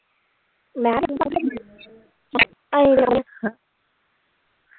ਮੈਂ